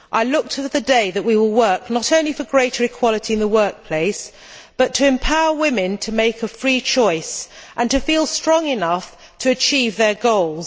I look to the day that we will work, not only for greater equality in the workplace, but to empower women to make a free choice and to feel strong enough to achieve their goals.